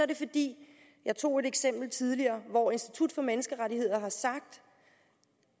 det fordi jeg tog et eksempel tidligere hvor institut for menneskerettigheder har sagt